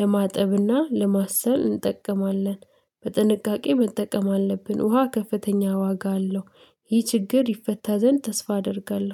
ለማጠብና ለማሰል እንጠቀማለን። በጥንቃቄ መጠቀም አለብን። ውሃ ከፍተኛ ዋጋ አለው ይህ ችግር ይፈታ ዘንድ ተስፋ አደርጋለሁ።